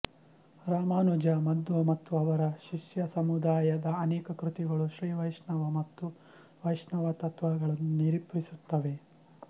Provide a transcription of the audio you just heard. ರಾಮಾನುಜ ಮಧ್ವ ಮತ್ತು ಅವರ ಶಿಷ್ಯಸಮುದಾಯದ ಅನೇಕ ಕೃತಿಗಳು ಶ್ರೀವೈಷ್ಣವ ಮತ್ತು ವೈಷ್ಣವ ತತ್ತ್ವಗಳನ್ನು ನಿರೂಪಿಸುತ್ತವೆ